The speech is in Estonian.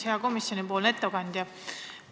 Hea komisjoni ettekandja!